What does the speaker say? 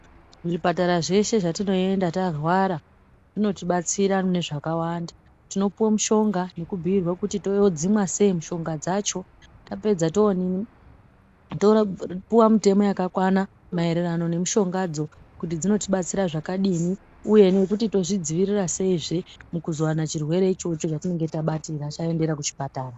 Muzvipatara zveshe zvatinoenda tarwara zvinotibatsira mune zvakawanda, tinopiwe mushonga nekubhiirwa kuti todzimwa sei mushonga dzacho yapedza tooninibtopuwa mitemo yakakwana maererano nemushongadzo kuti dzinotibatsira zvakadini uye nokuti tozvidzivirira seizve mukuzowana chirwere ichocho chatinenge tabatira taendera kuchipatara.